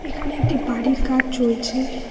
এখানে একটি বাড়ির কাজ চলছে।